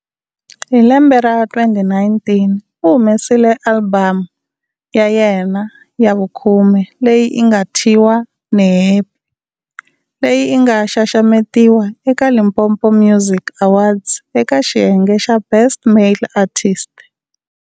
Hi lembe ra 2019 u humesile alibamu ya yena ya vukhume leyi nga thyiwa"Ni Happy" leyi nga xaxametiwa eka Limpopo music awards eka xiyenge xa Best male artist.